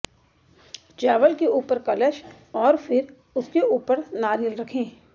चावल के ऊपर कलश और फिर उसके ऊपर नारियल रखें